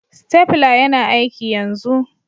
Stapler yana aiki yanzu.